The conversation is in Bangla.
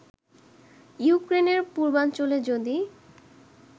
ইউক্রেনের পূর্বাঞ্চলে যদি